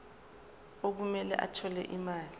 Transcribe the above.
okumele athole imali